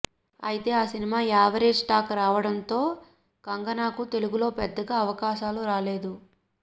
అయితే ఆ cinema average talk రావడంతో కంగనాకు తెలుగులో పెద్దగా అవకాశాలు రాలేదు